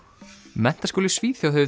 menntaskóli í Svíþjóð hefur